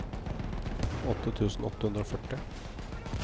åtte tusen åtte hundre og førti